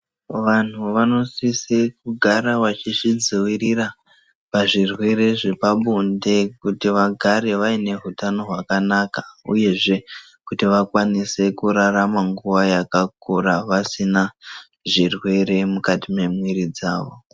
Vanthu vanosise kugara vachizvidzivirira pazvirwere zvepabonde, kuti vagare vaine hutano hwakanaka, uyezve kuti vakwanise kurarama nguwa yakakura, vasina zvirwere mukati mwemwiri dzavo.